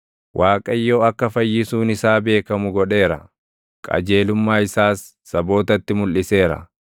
Waaqayyo akka fayyisuun isaa beekamu godheera; qajeelummaa isaas sabootatti mulʼiseera.